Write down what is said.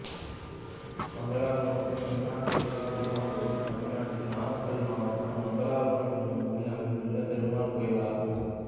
மங்களபுரம் சென்ன கேசப் பெருமாள் கோயில் தமிழ்நாட்டில் நாமக்கல் மாவட்டம் மங்களபுரம் என்னும் ஊரில் அமைந்துள்ள பெருமாள் கோயிலாகும்